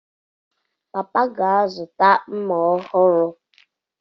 Papa ga-azụta mma ọhụrụ.